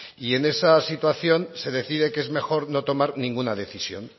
y en esa situación se decide que es mejor no tomar ninguna decisión